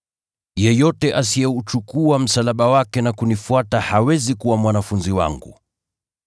Yeyote asiyeuchukua msalaba wake na kunifuata hawezi kuwa mwanafunzi wangu.